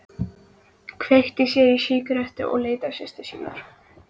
Kveikti sér í sígarettu og leit til systur sinnar.